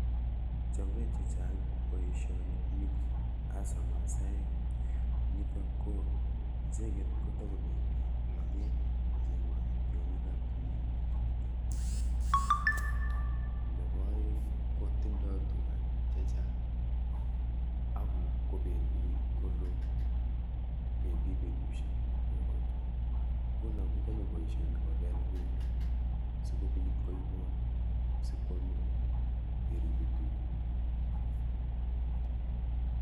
Chobe chechang' boisioni meat hasa masaek. niitok ko, icheget togobendi laget kocheng'ati tiong'ik ap tumin. nebo aeng' kotindoi tuga chechang' akobendi koloo, bendi betusiek nguno kochame boisioni kopeel bendo sikobiit koibot sikwame yeribe tuga